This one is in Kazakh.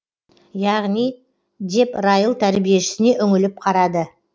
яғни деп райл тәрбиешісіне үңіліп қарады